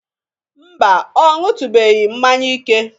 Mba, ọ ñụtubeghi mmanya ike.